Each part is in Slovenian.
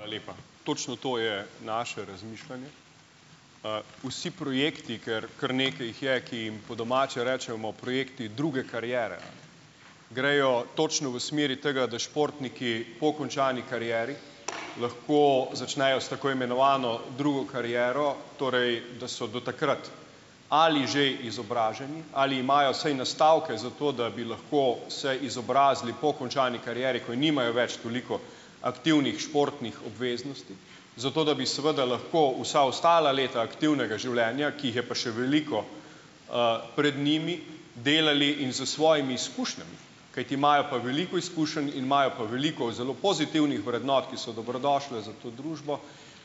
Hvala lepa. Točno to je naše razmišljanje. Vsi projekti, ker kar nekaj jih je, ki jim po domače rečemo, projekti druge kariere, grejo točno v smeri tega, da športniki po končani karieri lahko začnejo s tako imenovano drugo kariero, torej, da so do takrat ali že izobraženi, ali imajo saj nastavke za to, da bi lahko se izobrazili po končani karieri, ko je nimajo več toliko aktivnih športnih obveznosti, zato da bi seveda lahko vsa ostala leta aktivnega življenja, ki jih je pa še veliko, pred njimi, delali in s svojimi izkušnjami, kajti imajo pa veliko izkušenj in imajo pa veliko zelo pozitivnih vrednot, ki so dobrodošle za to družbo,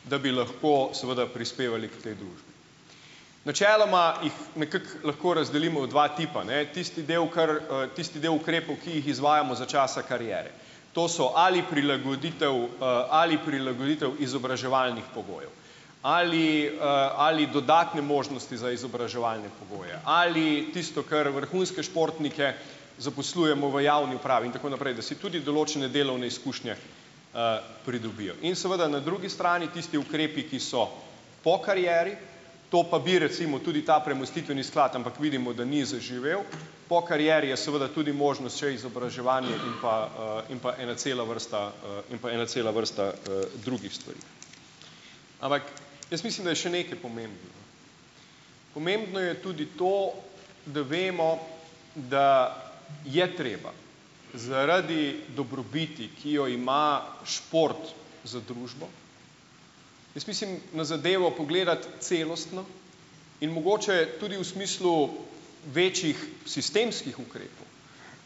da bi lahko seveda prispevali k tej družbi. Načeloma jih nekako lahko razdelimo v dva tipa, ne. Tisti del, kar, tisti del ukrepov, ki jih izvajamo za časa kariere. To so ali prilagoditev, ali prilagoditev izobraževalnih pogojev, ali, ali dodatne možnosti za izobraževalne pogoje, ali tisto, kar vrhunske športnike zaposlujemo v javni upravi in tako naprej, da si tudi določene delovne izkušnje, pridobijo. In seveda na drugi strani tisti ukrepi, ki so po karieri, to pa bi, recimo, tudi ta premostitveni sklad, ampak vidimo, da ni zaživel, po karieri je seveda tudi možnost še izobraževanje in pa, in pa ena cela vrsta, in pa ena cela vrsta, drugih stvari. Ampak jaz mislim, da je še nekaj pomembno. Pomembno je tudi to, da vemo, da je treba zaradi dobrobiti, ki jo ima šport za družbo, jaz mislim na zadevo pogledati celostno in mogoče tudi v smislu večjih sistemskih ukrepov,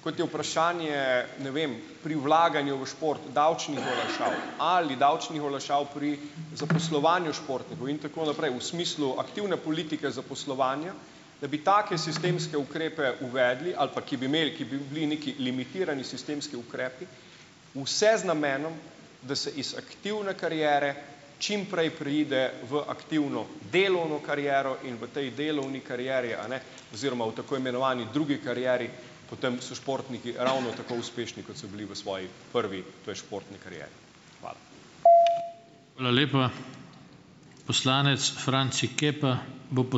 kot je vprašanje, ne vem, pri vlaganju v šport, davčnih olajšav ali davčnih olajšav pri zaposlovanju športnikov, in tako naprej, v smislu aktivne politike zaposlovanja, da bi take sistemske ukrepe uvedli ali pa, ki bi imel, ki bi bili neki limitirani sistemski ukrepi, vse z namenom, da se iz aktivne kariere čim prej preide v aktivno delovno kariero in v tej delovni karieri, a ne, oziroma v tako imenovani drugi karieri potem so športniki ravno tako uspešni, kot so bili v svoji prvi, to je športni karieri. Hvala.